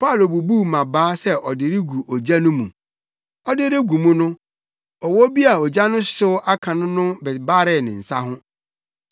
Paulo bubuu mmabaa sɛ ɔde regu ogya no mu. Ɔde regu mu no, ɔwɔ bi a ogya no hyew aka no no bebaree ne nsa ho.